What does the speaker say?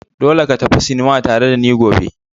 Dole ka tafi sinima tare da ni gobe!